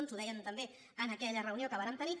ens ho deien també en aquella reunió que vàrem tenir